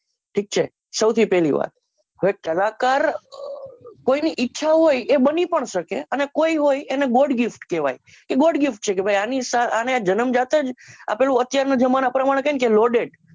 ઠીક છે સૌથી પહલી વાત કલાકાર કોઈ ઈચ્છે એવો બની શકે છે અને કોઈ હોય એને god gift કહવાય એ god gift છે કે આની જનમ જાત જ અત્યારના જમાના પ્રમાણે કહે loaded